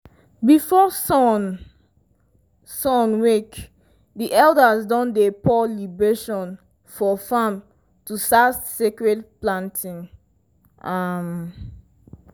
before sun sun wake di elders don dey pour libation for farm to start sacred planting. um